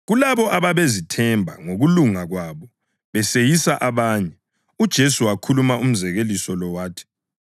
Kulabo ababezethemba ngokulunga kwabo beseyisa abanye, uJesu wakhuluma umzekeliso lo wathi: